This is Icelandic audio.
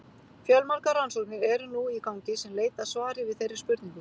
Fjölmargar rannsóknir eru nú í gangi sem leit að svari við þeirri spurningu.